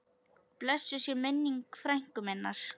Blessuð sé minning frænku minnar.